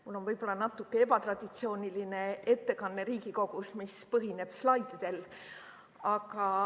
Mul on võib-olla natuke ebatraditsiooniline ettekanne Riigikogus, mis põhineb slaididel.